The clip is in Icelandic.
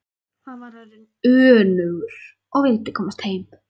Hann var orðinn önugur og vildi komast heim.